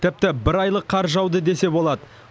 тіпті бір айлық қар жауды десе болады